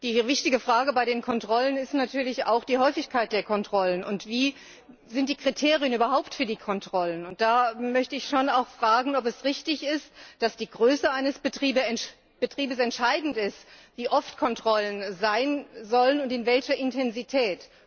Die wichtige Frage bei den Kontrollen ist natürlich auch die Häufigkeit der Kontrollen und welche Kriterien überhaupt bei den Kontrollen angelegt werden. Da möchte ich fragen, ob es richtig ist, dass die Größe eines Betriebs entscheidend ist, wie oft Kontrollen sein sollen und in welcher Intensität.